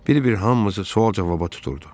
Bir-bir hamımızı sual-cavaba tuturdu.